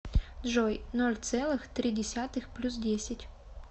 джой ноль целых три десятых плюс десять